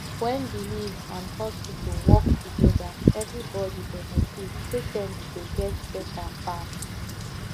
when belief and hospital work together everybody benefit patient go get better fast